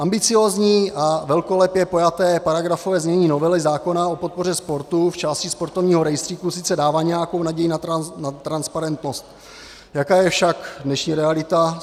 Ambiciózní a velkolepě pojaté paragrafové znění novely zákona o podpoře sportu v části sportovního rejstříku sice dává nějakou naději na transparentnost, jaká je však dnešní realita?